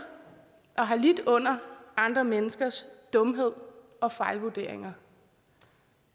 og har lidt under andre menneskers dumhed og fejlvurderinger